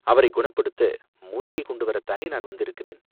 அவரைக் குணப்படுத்த மூலிகை கொண்டு வரத்தானே நான் வந்திருக்கிறேன்.